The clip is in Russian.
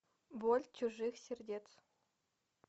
боль чужих сердец